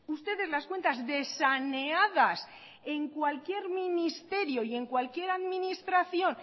ustedes las cuentas de saneadas en cualquier ministerio y en cualquier administración